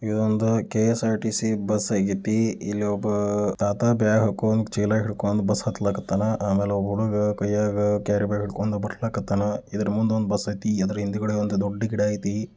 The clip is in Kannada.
ಇದು ಒಂದ ಕ್ಎಸ್ಆರ್ಟಿಸಿ ಬಸ್ ಆಗೈತಿ. ಇಲ್ಲ ಒಬ್ಬ ತಾತಾ ಬ್ಯಾಗ್ ಹಾಕೊಂಡ್ ಚೀಲಾ ಹಿಡ್ಕೊಂಡ್ ಬಸ್ ಹತ್ಲಿಕತಾನ. ಆಮೇಲೆ ಒಬ್ಬ ಹುಡುಗ ಕೈಯಾಗ ಕ್ಯಾರಿ ಬ್ಯಾಗ್ ಹಿಡ್ಕೊಂಡು ಬಾರ್ಲಾಕತ್ತನ. ಇದರ ಮುಂದೆ ಒಂದ ಬಸ್ ಐತಿ. ಇದರ ಹಿಂಗಡೆ ಒಂದು ದೊಡ್ಡ ಗಿಡ ಐತಿ.